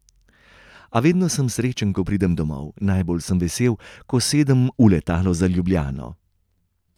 A vedno sem srečen, ko pridem domov, najbolj sem vesel, ko sedem v letalo za Ljubljano.